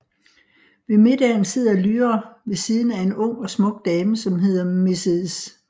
Ved middagen sidder Lyra ved siden af en ung og smuk dame som hedder Mrs